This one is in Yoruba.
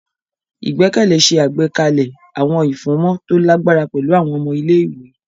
Igbẹkẹle ṣe àgbékalẹ̀ awọn ifunmọ to lagbara pẹlu awọn ọmọ ilé-ìwé.